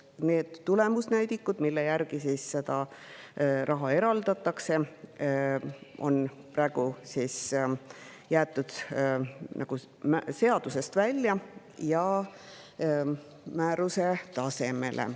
Need tulemusnäidikud, mille järgi seda raha eraldatakse, on praegu jäetud seadusest välja ja määruse tasemele.